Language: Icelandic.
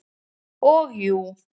Og jú.